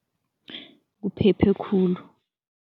Kuphephe khulu.